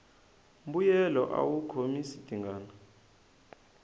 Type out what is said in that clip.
mbuyelo awu khomisa tingana